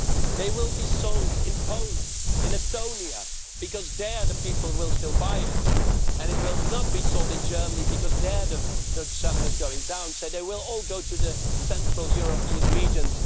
they will be sold in Poland, in Estonia, because there the people will still buy it and it will not be sold in Germany because there the selling is going down, so they will all go to the Central European regions.